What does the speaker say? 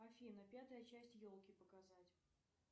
афина пятая часть елки показать